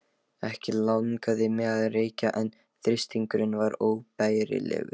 Ekki langaði mig að reykja en þrýstingurinn var óbærilegur.